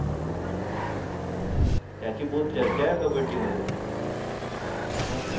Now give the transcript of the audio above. त्याची बहुत चर्चा आहे कब्बडी मध्ये मग